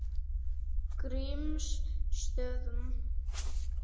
Grímsstöðum